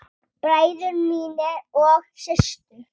Bræður mínir og systur.